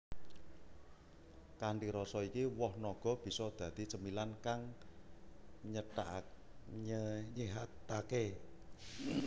Kanthi rasa iki woh naga bisa dadi camilan kang nyéhataké